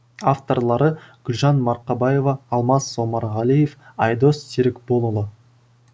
авторлары гүлжан марқабаева алмас омарғалиев айдос серікболұлы